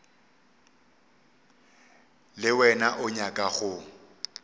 le wena o nyaka go